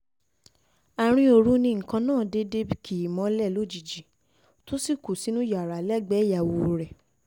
àárín òru ni nǹkan náà déédé déédé kì í mọ́lẹ̀ lójijì tó sì kú sínú yàrá lẹ́gbẹ̀ẹ́ ìyàwó rẹ̀